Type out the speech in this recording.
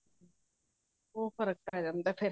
ਉਹ ਫਰਕ ਪੈ ਜਾਂਦਾ ਫੇਰ